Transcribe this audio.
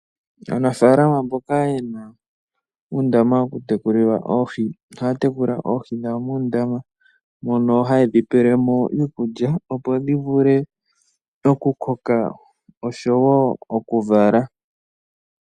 Aanafaalama mboka ye na uundama wokutekulila oohi ohaya tekula oohi dhawo muundama mono haye dhi pelemo iikulya opo dhi vule okukoka osho wo oku vala.